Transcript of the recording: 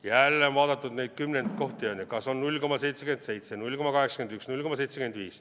Jälle on vaadatud neid kümnendkohti, on ju, kas on 0,77 või 0,81 või 0,75.